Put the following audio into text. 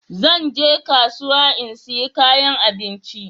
Zan je kasuwa in sayi kayan abinci.